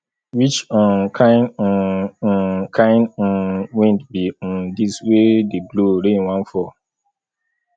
which um kin um um kin um wind be um dis wey dey blow rain wan fall